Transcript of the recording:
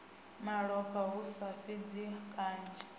malofha hu sa fhidzi kanzhi